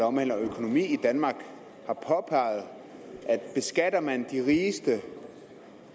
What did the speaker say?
omhandler økonomi i danmark har påpeget at beskatter man de rigeste